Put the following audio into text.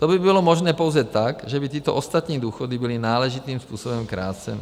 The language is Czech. To by bylo možné pouze tak, že by tyto ostatní důchody byly náležitým způsobem kráceny.